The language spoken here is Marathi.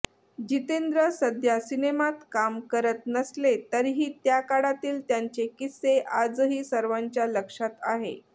जितेंद्र सध्या सिनेमात काम करत नसले तरीही त्या काळातील त्यांचे किस्से आजही सर्वांच्या लक्षात आहे